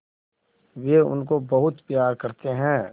वे उनको बहुत प्यार करते हैं